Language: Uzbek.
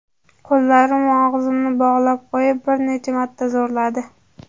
Qo‘llarim va og‘zimni bog‘lab qo‘yib, bir necha marta zo‘rladi.